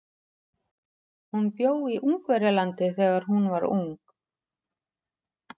Hún bjó í Ungverjalandi þegar hún var ung.